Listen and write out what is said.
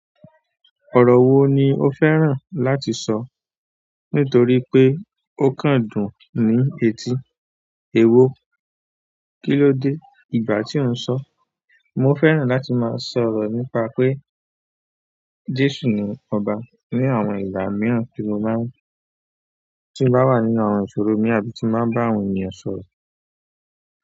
Ọrọ wo ni o fẹ́ràn láti sọ nítorí pe o kan dùn ni eti. Ewo, kíló dé ìgbà tí ó ń sọ? Mo fẹ́ràn láti máa sọ̀rọ̀ nípa pé Jésù ni ọba ní àwọn ìgbà mìíràn tí mo bá ti n ba wà nínú àwọn ìṣòro mii àbí tí n bá ń bá àwọn ènìyàn sọ̀rọ̀.